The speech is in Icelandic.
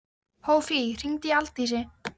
Hófí, hringdu í Aldísi.